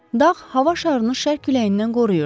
Dağ hava şarını şərq küləyindən qoruyurdu.